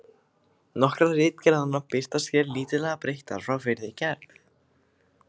Nokkrar ritgerðanna birtast hér lítillega breyttar frá fyrri gerð.